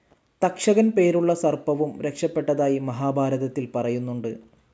തക്ഷകൻ പേരുള്ള സർപ്പവും രക്ഷപെട്ടതായി മഹാഭാരതത്തിൽ പറയുന്നുണ്ട്.